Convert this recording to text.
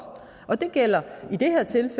og det gælder